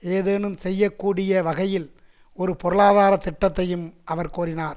ஏதேனும் செய்ய கூடிய வகையில் ஒரு பொருளாதார திட்டத்தையும் அவர் கோரினார்